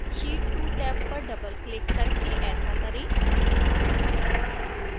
sheet 2 tab पर doubleक्लिक करके ऐसा करें